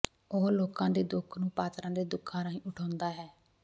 ਉਹ ਲੋਕਾਂ ਦੇ ਦੁੱਖ ਨੂੰ ਪਾਤਰਾਂ ਦੇ ਦੁੱਖਾਂ ਰਾਹੀਂ ਉਠਾਉਂਦਾ ਹੈ